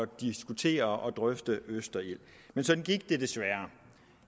diskutere og drøfte østerild men sådan gik det desværre